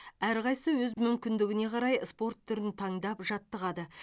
әрқайсысы өз мүмкіндігіне қарай спорт түрін таңдап жаттығады